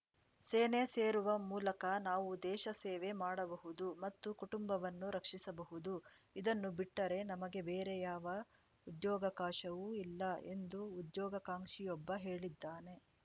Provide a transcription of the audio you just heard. ಸೇನೆ ಸೇರುವ ಮೂಲಕ ನಾವು ದೇಶ ಸೇವೆ ಮಾಡಬಹುದು ಮತ್ತು ಕುಟುಂಬವನ್ನು ರಕ್ಷಿಸಬಹುದು ಇದನ್ನು ಬಿಟ್ಟರೆ ನಮಗೆ ಬೇರೆಯಾವ ಉದ್ಯೋಗಾವಕಾಶವೂ ಇಲ್ಲ ಎಂದು ಉದ್ಯೋಗಾಕಾಂಕ್ಷಿಯೊಬ್ಬ ಹೇಳಿದ್ದಾನೆ